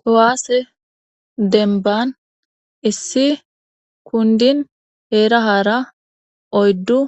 kowaase denban issi kundin heerahara oyddu